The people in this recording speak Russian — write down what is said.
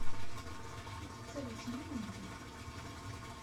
салют семейный ужин